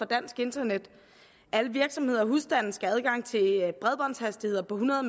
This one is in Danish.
dansk internet alle virksomheder og husstande skal have adgang til bredbåndshastigheder på hundrede